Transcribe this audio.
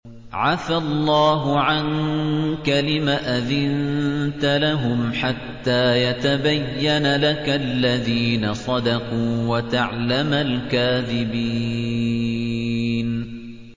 عَفَا اللَّهُ عَنكَ لِمَ أَذِنتَ لَهُمْ حَتَّىٰ يَتَبَيَّنَ لَكَ الَّذِينَ صَدَقُوا وَتَعْلَمَ الْكَاذِبِينَ